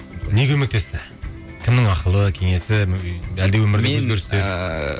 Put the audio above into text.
не көмектесті кімнің ақылы кеңесі